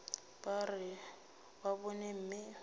ba re ba bone mme